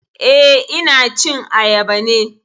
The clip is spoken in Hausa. Eh, ina cin ayaba ne